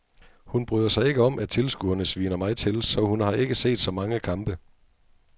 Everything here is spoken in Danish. Hun bryder sig ikke om at tilskuerne sviner mig til, så hun har ikke set så mange kampe.